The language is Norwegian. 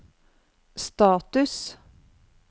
status